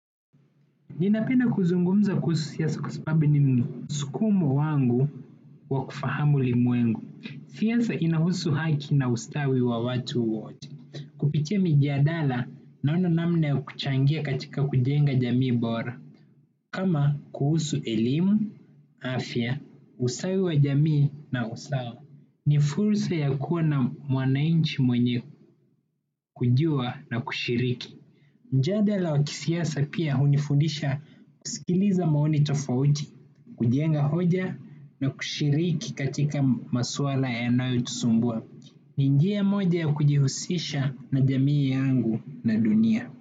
Ninapenda kuzungumza kuhusu siasa kwa sababu ni msukumo wangu wa kufahamu ulimwengu. Siasa inahusu haki na ustawi wa watu wote. Kupitia mijadala naona namna ya kuchangia katika kujenga jamii bora. Kama kuhusu elimu, afya, ustawi wa jamii na usawa. Ni fursa ya kuwa na mwananchi mwenye kujua na kushiriki. Mjadala wa kisiasa pia hunifundisha kusikiliza maoni tofauti, kujenga hoja na kushiriki katika maswala yanayotusumbua. Ni njia moja ya kujihusisha na jamii yangu na dunia.